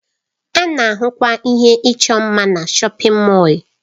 A na-ahụkwa ihe ịchọ mma na shọpin Mọll.